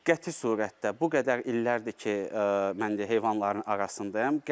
Qəti surətdə bu qədər illərdir ki, mən heyvanların arasındayam.